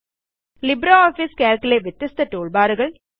ലിബ്രിയോഫീസുകൾക്ക് ലെ വ്യത്യസ്ത ടൂൾബാറുകൾ